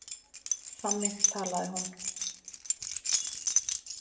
Þannig talaði hún.